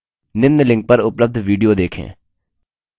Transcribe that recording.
निम्न link पर उपलब्ध video देखें